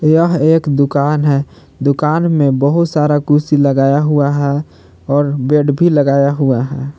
यह एक दुकान है दुकान में बहुत सारा कुर्सी लगाया हुआ है और बेड भी लगाया हुआ है।